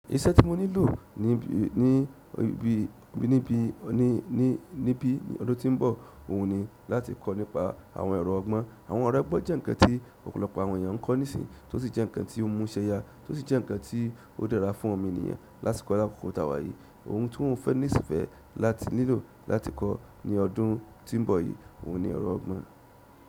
Iṣẹ́ tí mo nílò ní bí ní bí ọdún tí ń bọ̀ òhun ni láti kọ́ nípa àwọn ẹ̀rọ ọgbọ́n. Àwọn ẹ̀rọ ọgbọ́n jẹ́ nǹkan tí ọ̀pọ̀lọpọ̀ àwọn ènìyàn ń kọ́ nísinsìnyí tó sì jẹ́ nǹkan tí ó mú ṣẹ́ya tó sì jẹ́ nǹkan tí ó dára fún òmo ènìyàn látì kò ni àkókò tàwà yìí. Òhun tó n fẹ́ nísìfẹ̀ láti nílò láti kọ́ ní ọdún tí ń bọ̀ yìí, òun ni ẹ̀rọ ọgbọ́n.